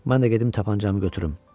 Mən də gedim tapançamı götürüm.